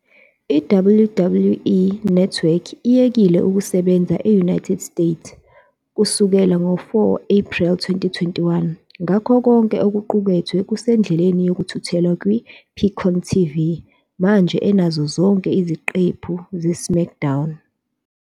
I- WWE Network iyekile ukusebenza e-United States kusukela ngo-Ephreli 4, 2021, ngakho konke okuqukethwe kusendleleni yokuthuthelwa kwi-Peacock TV, manje enazo zonke iziqephu "zeSmackDown."